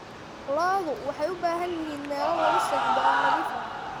Lo'du waxay u baahan yihiin meelo lagu seexdo oo nadiif ah.